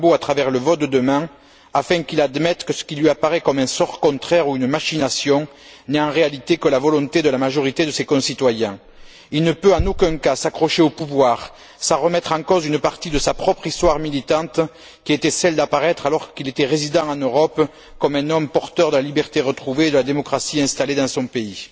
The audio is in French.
Gbagbo à travers le vote de demain afin qu'il admette que ce qui lui apparaît comme un sort contraire ou une machination n'est en réalité que la volonté de la majorité de ses concitoyens. Il ne peut en aucun cas s'accrocher au pouvoir sans remettre en cause une partie de sa propre histoire militante qui était d'apparaître, alors qu'il était résident en Europe, comme un homme porteur de la liberté retrouvée et de la démocratie installée dans son pays.